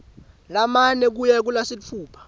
lamane kuya kulasitfupha